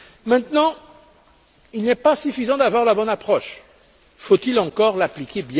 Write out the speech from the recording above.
Maintenant, il n'est pas suffisant d'avoir la bonne approche, encore faut il bien l'appliquer.